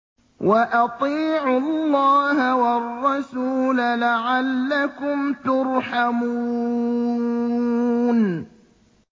وَأَطِيعُوا اللَّهَ وَالرَّسُولَ لَعَلَّكُمْ تُرْحَمُونَ